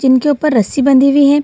जिनके ऊपर रस्सी बंधी हुई है।